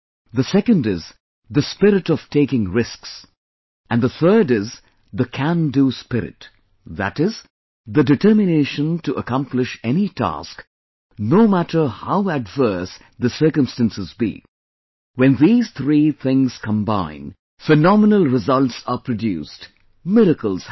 The second is the spirit of taking risks and the third is the Can Do Spirit, that is, the determination to accomplish any task, no matter how adverse the circumstances be when these three things combine, phenomenal results are produced, miracles happen